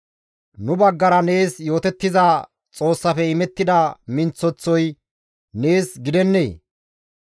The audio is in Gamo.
Nu baggara nees yootettiza Xoossafe imettida minththeththoy nees gidennee?